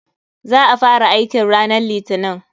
Za a fara aikin ranan litinin.